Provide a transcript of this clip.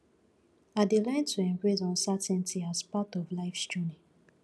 i dey learn to embrace uncertainty as part of lifes journey